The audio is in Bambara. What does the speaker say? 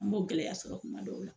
An b'o gɛlɛya y'a sɔrɔ kuma dɔw la.